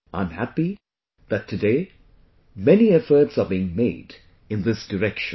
I am happy that, today, many efforts are being made in this direction